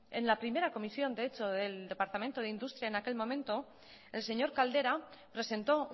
en la primera comisión de hecho del departamento de industria en aquel momento el señor caldera presentó